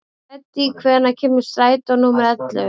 Hedí, hvenær kemur strætó númer ellefu?